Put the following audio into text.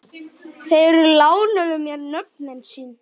Þeir lánuðu mér nöfnin sín.